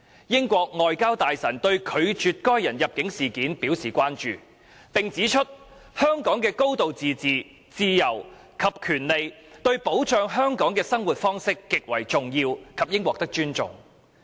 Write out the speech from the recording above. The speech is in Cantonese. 英國外交大臣對拒絕該人入境一事表示關注，並指出香港的高度自治、自由及權利對保障香港的生活方式極為重要及應獲得尊重。